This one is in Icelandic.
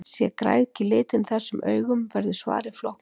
Sé græðgi litin þessum augum verður svarið flóknara.